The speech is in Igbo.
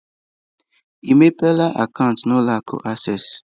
Ị mepela akaụntụ na ụlọ akụ acesịị?